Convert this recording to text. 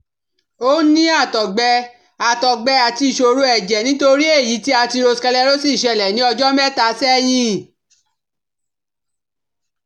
Ó ní àtọ̀gbẹ àtọ̀gbẹ àti ìṣòro ẹ̀jẹ̀ nítorí èyí tí atherosclerosis ṣẹlẹ̀ ní ọjọ́ mẹ́ta sẹ́yìn